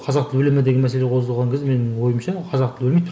қазақ тілі өле ме деген мәселе қозғалған кезде менің ойымша қазақ тілі өлмейді